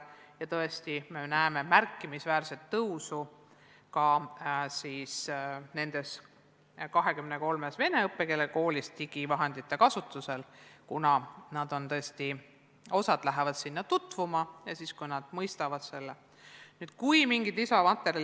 Ja tõesti me näeme märkimisväärset tõusu nendes 23-s vene õppekeelega koolis digiõppevahendite kasutusel, kuna nad lähevad sinna tutvuma ja kui nad mõistavad selle tähendust, hakkavad kasutama.